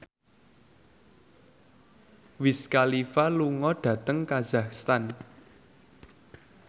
Wiz Khalifa lunga dhateng kazakhstan